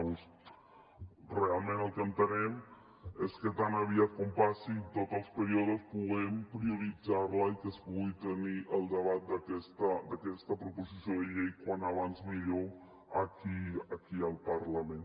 llavors realment el que entenem és que tan aviat com passin tots els períodes puguem prioritzar la i que es pugui tenir el debat d’aquesta proposició de llei com abans millor aquí al parlament